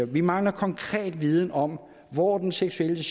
vi mangler konkret viden om hvor den seksuelle